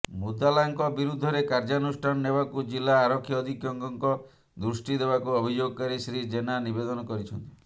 ମୁଦାଲାଙ୍କ ବିରୁଦ୍ଧରେ କାର୍ଯ୍ୟାନୁଷ୍ଠାନ ନେବାକୁ ଜିଲ୍ଲା ଆରକ୍ଷୀ ଅଧିକ୍ଷକଙ୍କ ଦୃଷ୍ଟି ଦେବାକୁ ଅଭିଯୋଗକାରୀ ଶ୍ରୀ ଯେନା ନିବେଦନ କରିଛନ୍ତି